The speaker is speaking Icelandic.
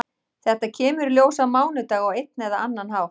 Þetta kemur í ljós á mánudag á einn eða annan hátt.